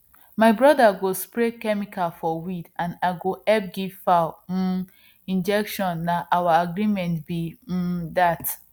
my brother go spray chemical for weed and i go help give fowl um injection na our agreement be um that